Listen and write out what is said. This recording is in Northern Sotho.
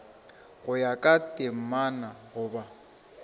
go ya ka temana goba